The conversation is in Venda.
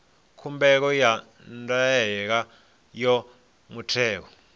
khumbelo ya ndaela ya muthelo